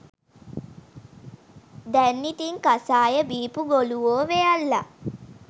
දැන් ඉතින් කසාය බීපු ගොලුවො වෙයල්ලා.